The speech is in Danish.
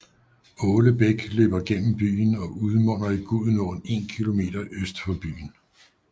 Åle Bæk løber gennem byen og munder ud i Gudenåen 1 km øst for byen